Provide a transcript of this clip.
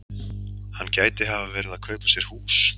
Hann gæti hafa verið að kaupa sér hús.